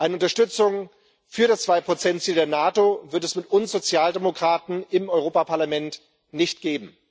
Eine Unterstützung für das 2 Ziel der NATO wird es mit uns Sozialdemokraten im Europäischen Parlament nicht geben.